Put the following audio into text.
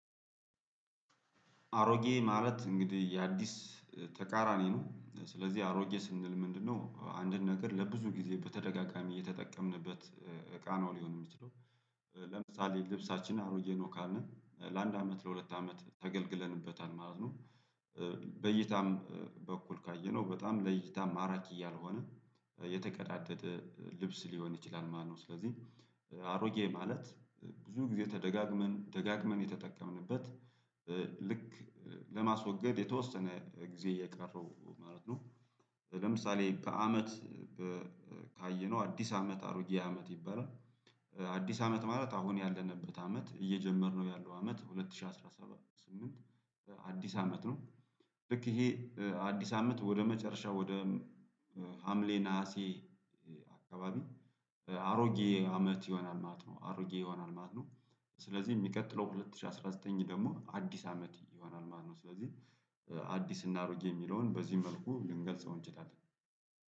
አሮጌ ማለት እንግዲህ የአዲስ ተቃራኒ ነው ስለዚህ አሮጌ ስንል ምንድነው አንድን ነገር ለብዙ ጊዜ በተደጋጋሚ እየተጠቀምንበት እቃ ነው ሊሆን የሚችለው። ለምሳሌ ልብሳችንን አሮዬ ነው ካልን ለአንድ አመት ለሁለት አመት ተገልግለንበታል ማለት ነው። በእይታም በኩል ካየነው በጣም ለእይታ ማራኪ እያልሆነ የተቀዳደደ ልብስ ሊሆን ይችላል ማለት ነው። ስለዚህ አሮጌ ማለት ብዙ ጊዜ ተደጋግመን ደጋግመን የተጠቀምንበት እ ልክ ለማስወገድ የተወሰነ ጊዜ የቀረው ማለት ነው። ለምሳሌ ከአመት እ ካየነው አዲስ አመት አሮጌ አመት ይባላል። አዲስ አመት ማለት አሁን ያለንበት አመት እየጀመርነው ያለው አመት ሁለት ሺህ አስራ ሰባት ስምንት አዲስ አመት ነው። ልክ ይሄ አዲስ አመት ወደ መጨረሻ ወደ ሀምሌ ነሀሴ አካባቢ አሮጌ አመት ይሆናል ማለት ነው አሮጌ ይሆናል ማለት ነው። ስለዚህ ሚቀጥለው ሁለት ሺህ አስራ ዘጠኝ ደግሞ አዲስ አመት ይሆናል ማለት ነው። ስለዚህ አዲስና አሮጌ የሚለውን በዚህ መልኩ ልንገልጸው እንችላለን